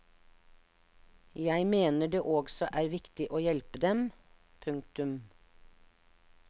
Jeg mener det også er viktig å hjelpe dem. punktum